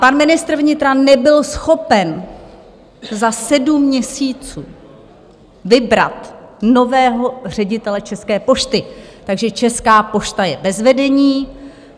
Pan ministr vnitra nebyl schopen za sedm měsíců vybrat nového ředitele České pošty, takže Česká pošta je bez vedení.